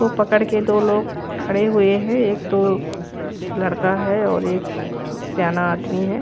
को पकड़ के दो लोग खड़े हुए है एक तो लड़का है और एक सयाना आदमी है।